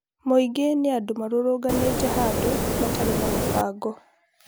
Mũingĩ nĩ anfũ marũrũnganite handũ matarĩ na mũbango